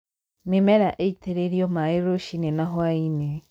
mĩmera ĩtĩrĩrio maaĩ rũcini na hwainĩ